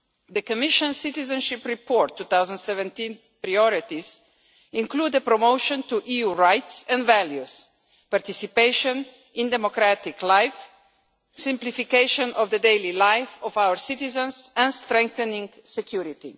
The Commission Citizenship Report 2017 priorities include the promotion to the status of EU rights and values of participation in democratic life, simplification of the daily lives of our citizens and strengthening security.